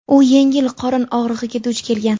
u yengil qorin og‘rig‘iga duch kelgan.